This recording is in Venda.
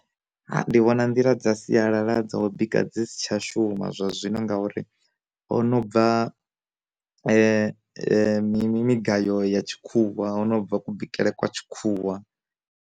Ndi vhona nḓila dza sialala dza u bika dzi si tsha shuma zwa zwino ngauri, ho no bva migayo ya tshikhuwa, ho no bva ku bikele kwa tshikhuwa.